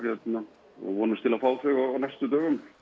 og vonumst til að fá þau á næstu dögum